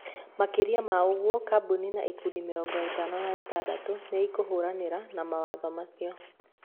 Makĩria ma ũguo, kambuni na ikundi mĩrongo ĩtano na ĩtandatũ nĩ ikĩhiũrania na mawatho macio.